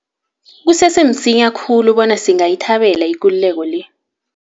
Kusese msinya khulu bona singayithabela ikululeko le.